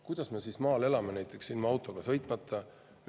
Kuidas näiteks maal elada ilma autota?